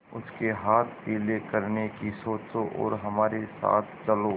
उसके हाथ पीले करने की सोचो और हमारे साथ चलो